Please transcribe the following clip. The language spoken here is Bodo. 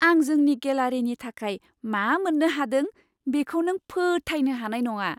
आं जोंनि गेलारिनि थाखाय मा मोन्नो हादों, बेखौ नों फोथायनो हानाय नङा!